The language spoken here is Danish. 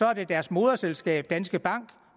er det deres moderselskab danske bank